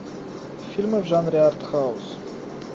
фильмы в жанре арт хаус